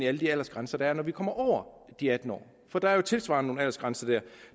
alle de aldersgrænser der er når vi kommer de atten år for der er jo tilsvarende nogle aldersgrænser der